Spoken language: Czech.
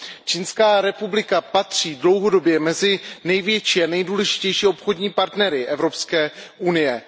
Čínská republika patří dlouhodobě mezi největší a nejdůležitější obchodní partnery Evropské unie.